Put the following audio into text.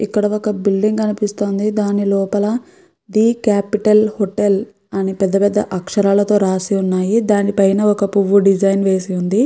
ఇక్కడ ఒక బిల్డింగ్ కనిపిస్తుంది దాని లోపల ది కాపిటల్ హోటెల్ అని పెద్ద పెద్ద అక్షరాలతో రాసి ఉన్నాయి దాని పైన ఒక పువ్వు డిజైన్ వేసి ఉంది.